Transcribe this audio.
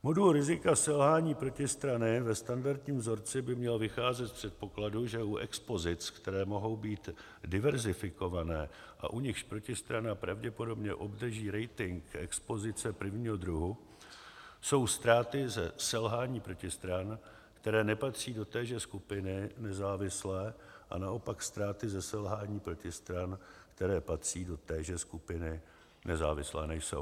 Modul rizika selhání protistrany ve standardním vzorci by měl vycházet z předpokladu, že u expozic, které mohou být diverzifikované a u nichž protistrana pravděpodobně obdrží rating, expozice prvního druhu, jsou ztráty ze selhání protistran, které nepatří do téže skupiny, nezávislé, a naopak ztráty ze selhání protistran, které patří do téže skupiny, nezávislé nejsou.